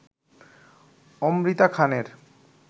অমৃতা খানের